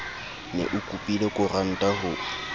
ne o kopile koranta ho